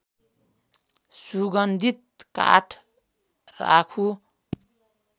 सुगन्धित काठ राख्नु